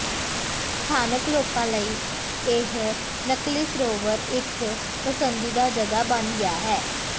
ਸਥਾਨਕ ਲੋਕਾਂ ਲਈ ਇਹ ਨਕਲੀ ਸਰੋਵਰ ਇਕ ਪਸੰਦੀਦਾ ਜਗ੍ਹਾ ਬਣ ਗਿਆ ਹੈ